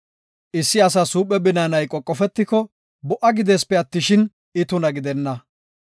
“Issi asas huuphe binaanay qoqofetiko, bo77a gideesipe attishin, I tuna gidenna.